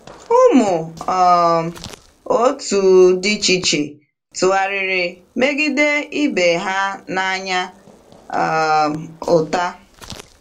Ụmụ um otu dị iche iche tụgharịrị megide ibe ha n’anya um ụta.